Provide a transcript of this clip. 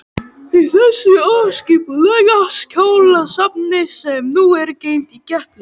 Í þessu óskipulega skjalasafni, sem nú er geymt í kjallara